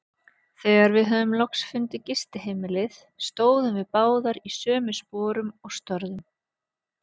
Þegar við höfðum loks fundið gistiheimilið, stóðum við báðar í sömu sporum og störðum.